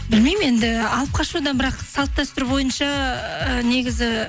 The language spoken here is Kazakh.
білмеймін енді алып қашуда бірақ салт дәстүр бойынша ы негізі